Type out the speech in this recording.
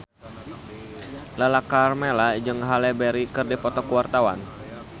Lala Karmela jeung Halle Berry keur dipoto ku wartawan